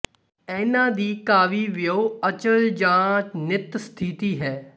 ਇਨ੍ਹਾਂ ਦੀ ਕਾਵਿ ਵਿੱਓ ਅਚਲ ਜਾਂ ਨਿੱਤ ਸਥਿਤੀ ਹੈ